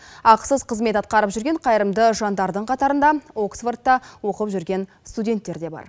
ақысыз қызмет атқарып жүрген қайырымды жандардың қатарында оксфордта оқып жүрген студенттер де бар